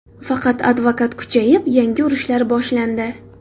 Faqat adovat kuchayib, yangi urushlar boshlandi.